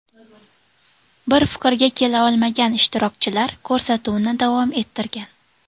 Bir fikrga kela olmagan ishtirokchilar ko‘rsatuvni davom ettirgan.